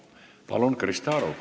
Palun, Krista Aru!